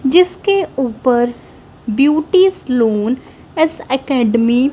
जिसके ऊपर beauty salon s academy --